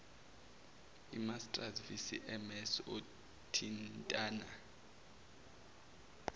inmarsat cvms othintana